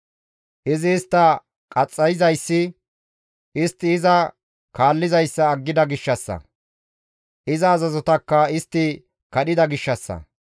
Izi istta qaxxayizayssi istti iza kaallizayssa aggida gishshassa; iza azazotakka istti kadhida gishshassa.